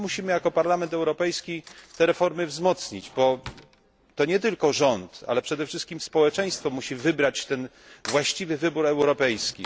Jako Parlament Europejski musimy te reformy wzmocnić, bo to nie tylko rząd, ale przede wszystkim społeczeństwo musi dokonać tego właściwego wyboru europejskiego.